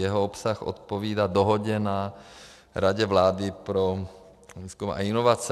Jeho obsah odpovídá dohodě na Radě vlády pro výzkum a inovace.